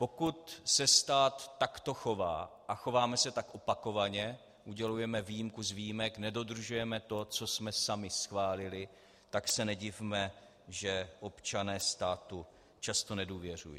Pokud se stát takto chová, a chováme se tak opakovaně, udělujeme výjimku z výjimek, nedodržujeme to, co jsme sami schválili, tak se nedivme, že občané státu často nedůvěřují.